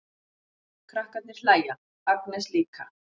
Krakkarnir hlæja, Agnes líka.